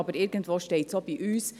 Aber irgendwo steht es auch bei uns: